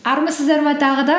армысыздар ма тағы да